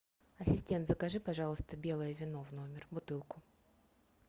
ассистент закажи пожалуйста белое вино в номер бутылку